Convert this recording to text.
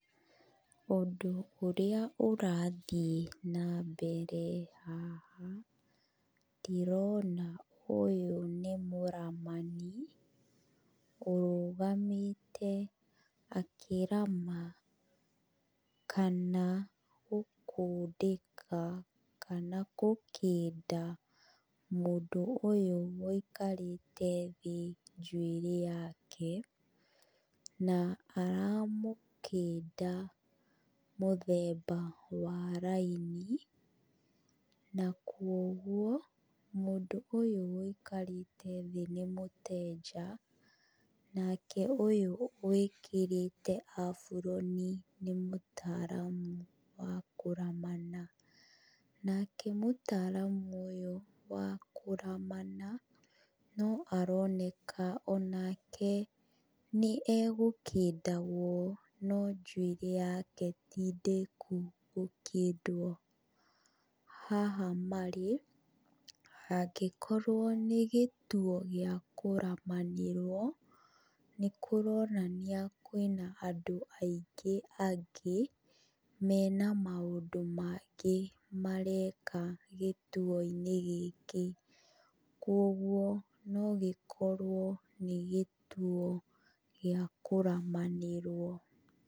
Ũndũ ũrĩa ũrathiĩ na mbere haha, ndĩrona ũyũ nĩ mũramani, ũrũgamĩte akĩrama, kana gũkundĩka, kana gũkĩnda, mũndũ ũyũ wũikarĩte thĩ njuĩrĩ yake, na aramũkĩnda mũthemba wa raini, na kuũguo, mũndũ ũyũ wũikarĩte thĩ nĩ mũtenja, nake ũyũ wĩkĩrĩte aburoni nĩ mũtaramu wa kũramana. Nake mũtaramu ũyũ wa kũramana no aroneka onake nĩ egũkĩndagwo no njuĩrĩ yake ti ndĩku gũkĩndwo. Haha marĩ, hangĩkorwo nĩ gĩtuo gĩa kũramanĩrwo nĩ kũronania kwĩna andũ aingĩ angĩ, mena maũndũ mangĩ mareka gĩtuo-inĩ gĩkĩ. Kuũguo o gĩkorwo nĩ gĩtuo gĩa kũramanĩrwo.